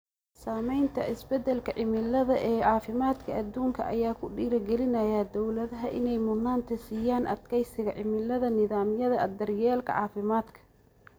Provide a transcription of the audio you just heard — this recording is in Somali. Saamaynta isbeddelka cimilada ee caafimaadka adduunka ayaa ku dhiirigelinaya dawladaha inay mudnaanta siiyaan adkeysiga cimilada nidaamyada daryeelka caafimaadka.